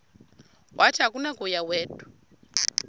wathi akunakuya wedw